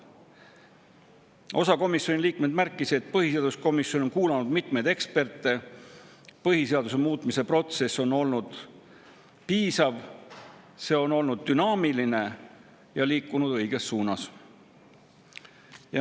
Osa komisjoni liikmeid märkis, et põhiseaduskomisjon on kuulanud mitmeid eksperte, põhiseaduse muutmise protsess on olnud piisav, see on olnud dünaamiline ja liikunud õiges suunas.